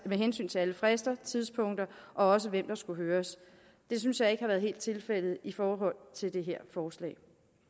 med hensyn til alle frister og tidspunkter og hvem der skulle høres det synes jeg ikke helt har været tilfældet i forhold til det her forslag